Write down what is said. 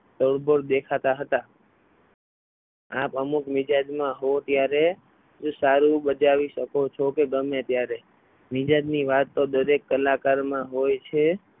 ઓળઘોળ દેખાતા હતા આપ અમુક મિજાજમાં હોય ત્યારે તેટલું સારું બચાવી શકો છો કે ગમે ત્યારે મિજાજની વાત તો દરેક કલાકારમાં હોય છે.